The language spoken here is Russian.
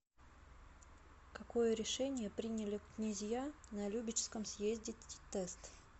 какое решение приняли князья на любечском съезде тест